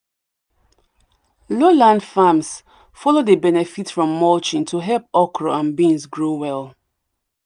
low land farms follow dey benefit from mulching to help okra and beans grow well